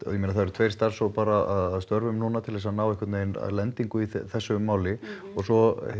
og ég meina það eru tveir starfshópar að störfum núna til að ná einhvern veginn lendingu í þessu máli og svo